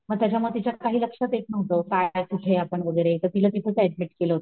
मग त्याच्यामुळं तिच्याकडं काही लक्षात येत नहुत काय कुठं आपण वैगेरे तर तिला तिथंच ऍडमिट केलं होत